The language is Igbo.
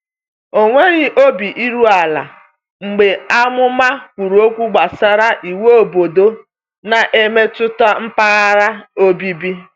Ọ nweghị obi iru ala mgbe amụma kwuru okwu gbasara iwu obodo na-emetụta mpaghara obibi.